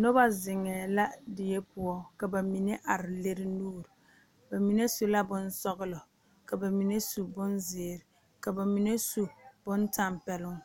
Nob zeŋee la die poɔ ka ba mine are lere nuure ba mine su la bonsɔgelɔ ka ba mine su bonzeere ka ba mine su bontɛmpeloŋ